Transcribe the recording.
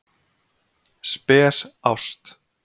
Spes ást